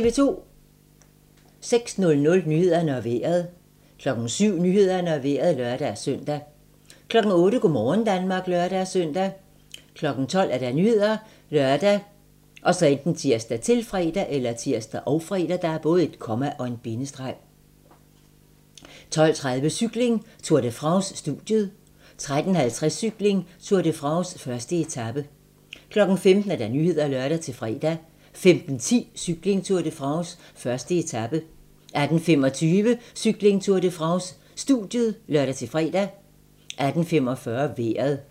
06:00: Nyhederne og Vejret 07:00: Nyhederne og Vejret (lør-søn) 08:00: Go' morgen Danmark (lør-søn) 12:00: Nyhederne ( lør, tir, -fre) 12:30: Cykling: Tour de France - studiet 13:50: Cykling: Tour de France - 1. etape 15:00: Nyhederne (lør-fre) 15:10: Cykling: Tour de France - 1. etape 18:25: Cykling: Tour de France - studiet (lør-fre) 18:45: Vejret